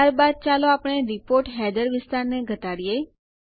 ત્યારબાદ ચાલો આપણે રિપોર્ટ હેડર વિસ્તારને ઘટાડીએ